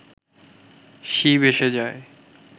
শিব এসে যায়